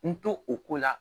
N to o ko la